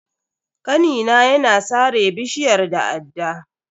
Kanina ya na sare bishiyar da adda.